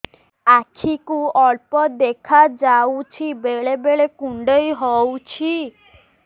ଆଖି କୁ ଅଳ୍ପ ଦେଖା ଯାଉଛି ବେଳେ ବେଳେ କୁଣ୍ଡାଇ ହଉଛି